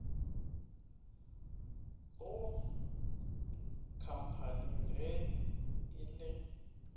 go khamphani ge e le